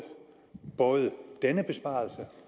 både denne besparelse